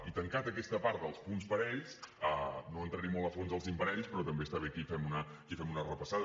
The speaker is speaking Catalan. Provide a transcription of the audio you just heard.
i tancada aquesta part dels punts parells no entraré molt a fons en els imparells però també està bé que hi fem una repassada